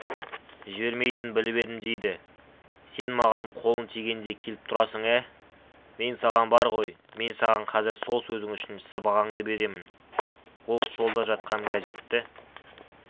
жібермейтінін біліп едім дейді сен маған қолың тигенде келіп тұрасың ә мен саған бар ғой мен саған казір сол сөзің үшін сыбағаңды беремін ол столда жатқан газетті